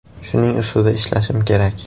Shuning ustida ishlashim kerak.